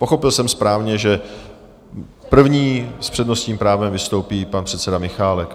Pochopil jsem správně, že první s přednostním právem vystoupí pan předseda Michálek?